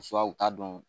u t'a dɔn